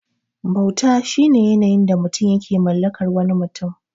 Bauta shine yanayin da mutum yake mallakar wani mutum.